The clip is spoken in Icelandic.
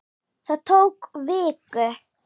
Það tók viku.